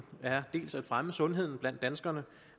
er dels at fremme sundheden blandt danskerne